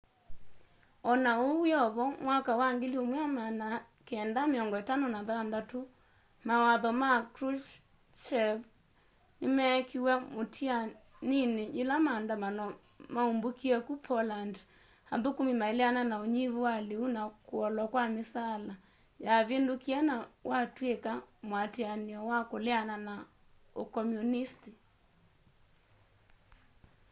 ona uu wiovo mwaka wa 1956 mawatho ma krushchevs nimeekiiwe mutianini yila maandamano maumbukie ku poland athukumi maileana na unyivu wa liu na kuolwa kwa misaala yavindukie na watw'ika muatianio wa kuleana na ukomyunisiti